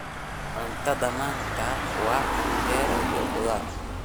Cuntada maanta waa canjeero iyo khudaar.